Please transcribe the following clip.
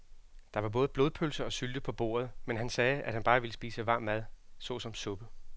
Der var både blodpølse og sylte på bordet, men han sagde, at han bare ville spise varm mad såsom suppe.